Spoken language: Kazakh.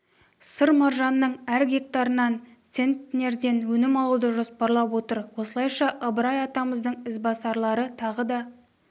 сыр маржанының әр гектарынан центнерден өнім алуды жоспарлап отыр осылайша ыбырай атамыздың ізбасарлары тағы да